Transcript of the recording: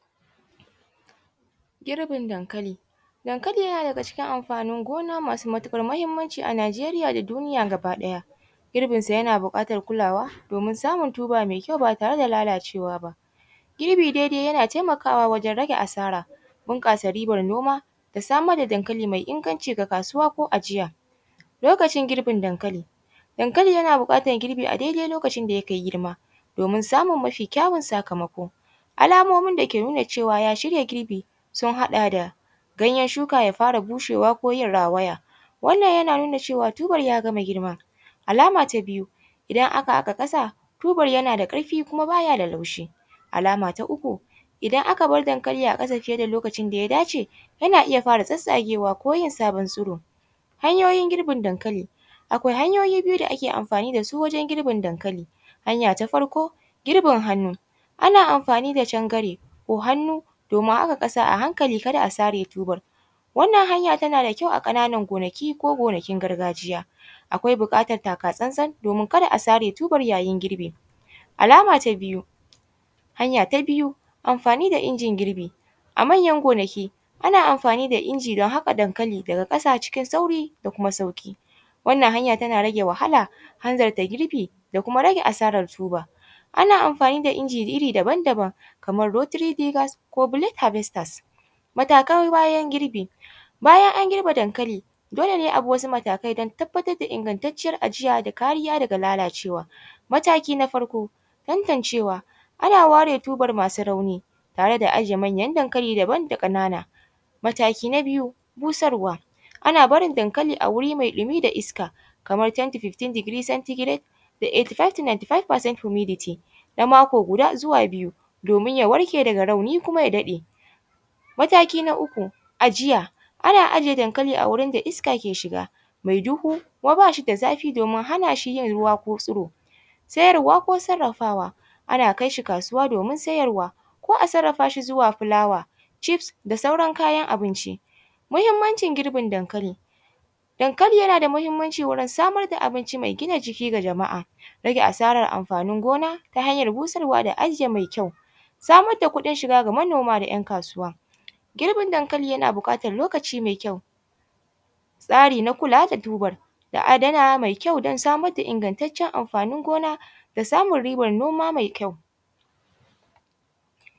Girbin dankali, dankali yana daga cikin amfanin gona masu matukar muhimmanci a Nigeriya da duniya gaba ɗaya girbinsa yana bukatar kulawa domin samun tuba mai kyau ba tare da lalacewa ba, girbi dai yana taimakawa wajen rage asara bunkasa ribar noma da samar da dankali mai inganci ga kasuwa ko ajiya, lokacin girbin dankali dankali yana bukatar girbi a daidai lokacin da ya kai girma domin samun mafi kyawan sakamako alamomi da ke nuna cewa ya shirya girbi sun haɗa da ganyar shuka ya fara bushewa ko rawaya wannan yana nuna cewa tubar y agama girma, alama ta biyu idan aka haka kasa tubar ya yana da karfi kuma baya da laushi, alama ta uku idan aka bar dankali a kasa fiye da lokacin da ya dace yana iya fara tsatsagewa ko yin sabon tsiro, hanyoyin girbin dankali akwai hanyoyi biyu da ake amfani da su wajen girbin dankali, hanya ta farko girbin hannu, ana amfani cangare ko hannu domin haka kasa a hankali kada a sare tubalan wannan hanya tana da kyau a kananan gonaki ko gonakin gargajiya akwai bukatar takatsantsan domin kada a sare tuban yayin girbi, alama ta biyu hanya ta biyu amfani da injin girbi a manyan gonaki ana amfani da inji don haka dankali daga kasa cikin sauri da kuma sauki wannan hanya tana rage wahala hanzarta girbi da kuma rage asarar tubar ana amfani da inji iri daban-daban kamar rotry givers ko blade havesters, matakai bayan girbi bayan an girba dankali dole ne abi wasu matakai don tabbatar da ingantaciyar ajiya da kariya daga lalacewa, mataki na farko tantancewa ana ware tubar masu rauni tare da ajiye manyan dankali daban da kanana, mataki na biyu busarwa ana barin dankali a wuri mai dumi da iska kamar 10 to 15 centregrate da 85 percent humidty na mako guda zuwa biyu domin ya warke daga rauni kuma ya dade, mataki na uku ajiya ana ajiye dankali a wurin da iska ke shiga mai duhu kuma bashi da zafi domin hana shi yin ruwa ko tsiro, siyarwa ko sarafawa ana kais hi kasuwa domin siyarwa ko a sarafa shi zuwa fulawa chiefs da sauran kayan abinci, muhimmancin girbin dankali dankali yana da muhimmanci wurin samar da abinci mai gina jiki ga jama’a rage asarar amfanin gona ta hayar busarwa da ajiye mai kyau, samar da kuɗin shiga ga manoma da ‘yan kasuwa girbin dankali yana bukatar lokaci mai kyau, tsari na kulawa da tubar da adana mai kyau don samar da ingantacen amfanin gona da samar riban noma mai kyau.